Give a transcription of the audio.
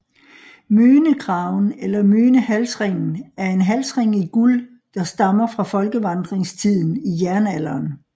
Mönekraven eller Mönehalsringen er en halsring i guld der stammer fra folkevandringstiden i jernalderen